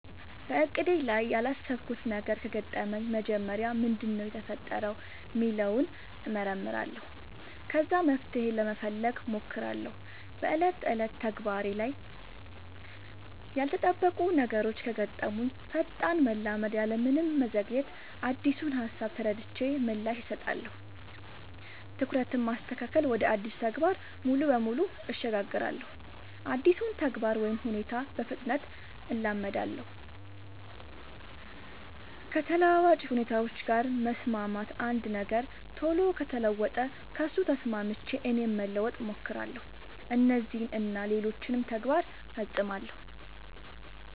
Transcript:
በእቅዴ ላይ ያላሰብኩት ነገር ከገጠመኝ መጀመሪያ ምንድነው የተፈጠረው ሚለውን እመረምራለሁ ከዛ መፍትሄ ለመፈለግ ሞክራለው በ ዕለት ተዕለት ተግባሬ ላይ ያልተጠበቁ ነገሮች ከገጠሙኝ ፈጣን መላመድ ያለምንም መዘግየት አዲሱን ሃሳብ ተረድቼ ምላሽ እሰጣለሁ። ትኩረትን ማስተካከል ወደ አዲሱ ተግባር ሙሉ በሙሉ እሸጋገራለሁ አዲሱን ተግባር ወይ ሁኔታ በፍጥነት እላመዳለው። ከተለዋዋጭ ሁኔታዎች ጋር መስማማት አንድ ነገር ቶሎ ከተለወጠ ከሱ ተስማምቼ እኔም ለመለወጥ ሞክራለው። እነዚህን እና ሌሎችም ተግባር ፈፅማለው።